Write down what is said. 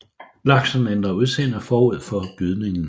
Laksen ændrer udseende forud for gydningen